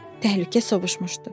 Təhlükə sovuşmuşdu.